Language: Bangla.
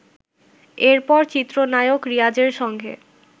এরপর চিত্রনায়ক রিয়াজের সঙ্গে